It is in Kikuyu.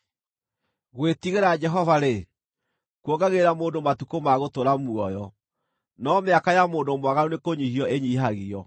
Gwĩtigĩra Jehova-rĩ, kuongagĩrĩra mũndũ matukũ ma gũtũũra muoyo, no mĩaka ya mũndũ mwaganu nĩkũnyiihio ĩnyiihagio.